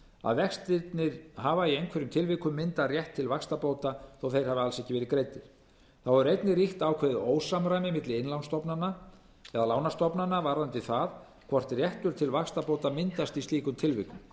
að vextirnir hafa í einhverjum tilvikum myndað rétt til vaxtabóta þótt þeir hafi alls ekki verið greiddir þá hefur einnig ríkt ákveðið ósamræmi milli lánastofnana varðandi það hvort réttur til vaxtabóta myndast í slíkum tilvikum